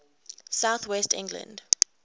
south west england